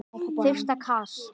Fyrsta kast